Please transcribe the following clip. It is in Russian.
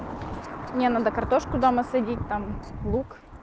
мне надо картошку дома садить там лук